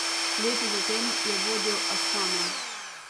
Leto zatem je vodil Astano.